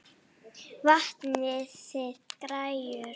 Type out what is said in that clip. Vantaði græjur?